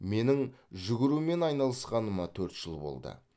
менің жүгірумен айналысқаныма төрт жыл болды